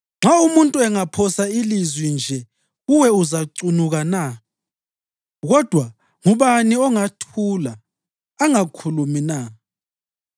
“Nxa umuntu angaphosa ilizwi nje kuwe uzacunuka na? Kodwa ngubani ongathula angakhulumi na?